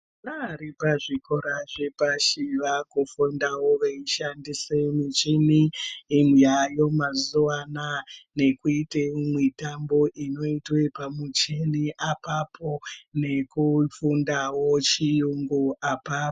Vari pa zvikora zvepashi vaku fundawo veyi shandise muchini yayo mazuva anaya nekuite mitambo inoitwe pa muchini apapo neku fundawo chiyungu apapo.